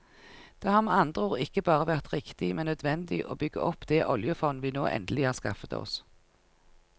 Det har med andre ord ikke bare vært riktig, men nødvendig å bygge opp det oljefond vi nå endelig har skaffet oss.